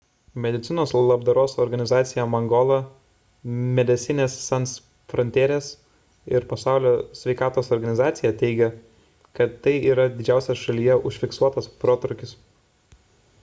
medicinos labdaros organizacija mangola medecines sans frontieres ir pasaulio sveikatos organizacija teigia kad tai yra didžiausias šalyje užfiksuotas protrūkis